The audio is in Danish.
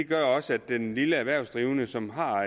gør også at den lille erhvervsdrivende som har